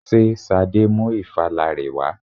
Ṣé Ṣadé mú ìfala rẹ wà?